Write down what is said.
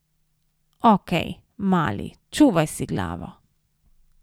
Okej, mali, čuvaj si glavo.